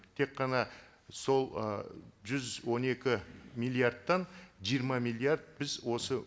тек қана сол ы жүз он екі миллиардтан жиырма миллиард біз осы